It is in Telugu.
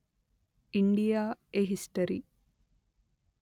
India a history